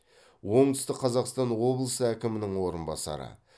оңтүстік қазақстан облысы әкімінің орынбасары